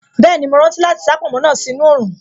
Bẹ́ẹ̀ni, mo rántí láti sá pònmó náà sí inú oòrùn